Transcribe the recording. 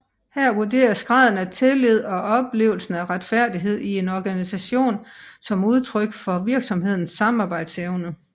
Her vurderes graden af tillid og oplevelsen af retfærdighed i en organisation som udtryk for virksomhedens samarbejdsevne